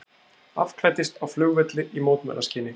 Afklæddist á flugvelli í mótmælaskyni